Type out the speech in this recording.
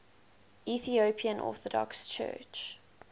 ethiopian orthodox church